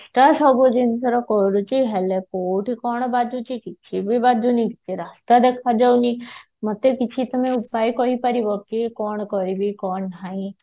ସବୁ ଜିନିଷରେ କରୁଛି ହେଲେ କୋଉଠି କଣ ବାଜୁଛି କି କିଛି ବି ବାଜୁନି ମତେ ରାସ୍ତା ଦେଖା ଯାଉଣି ମତେ କିଛି ତମେ ଉପାୟ କହିପାରିବ କି କଣ କରିବି କଣ ନାଇଁ